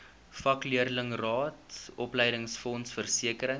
vakleerlingraad opleidingsfonds versekering